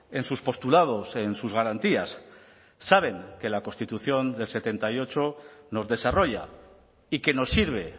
en sus postulados en sus garantías saben que la constitución del setenta y ocho nos desarrolla y que nos sirve